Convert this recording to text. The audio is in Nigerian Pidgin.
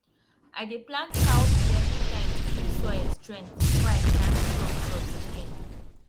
i dey plant cowpea every time to give soil strength before i plant strong crops again